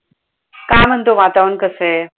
काय म्हणतो वातावरण कसंय?